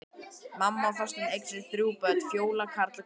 Mamma og Þorsteinn eignuðust þrjú börn, Fjólu, Karl og Gunnar.